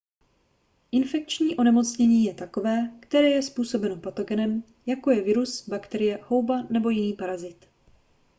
infekční onemocnění je takové které je způsobeno patogenem jako je virus bakterie houba nebo jiný parazit